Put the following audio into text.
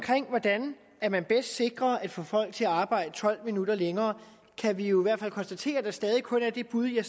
hvordan man bedst sikrer at kunne få folk til at arbejde tolv minutter længere kan vi jo i hvert fald konstatere at der stadig kun er det bud jeg